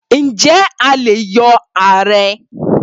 Ǹjẹ́ a lè yọ ààrẹ́?